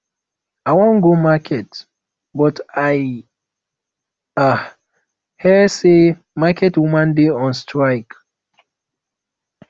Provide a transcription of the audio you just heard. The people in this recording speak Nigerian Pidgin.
i wan go market but i um hear say market women dey on strike